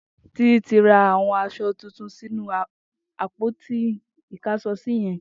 Titi ti rà awọn aṣọ tútún sinú àpóti ikáṣọsì yèn